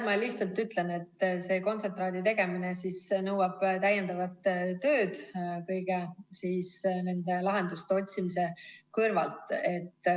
Ma lihtsalt ütlen, et selle kontsentraadi tegemine nõuab täiendavat tööd kõigi nende lahenduste otsimise kõrval.